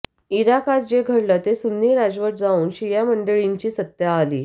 इराकात जे घडलं ते सुन्नी राजवट जाऊन शिया मंडळींची सत्ता आली